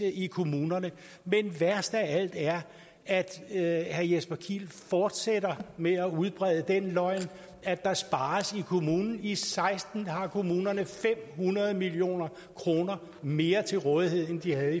i kommunerne men værst af alt er at herre jesper kiel fortsætter med at udbrede den løgn at der spares i kommunerne i seksten har kommunerne fem hundrede million kroner mere til rådighed end de havde